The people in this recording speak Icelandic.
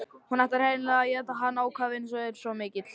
Hún ætlar hreinlega að éta hann, ákafinn er svo mikill.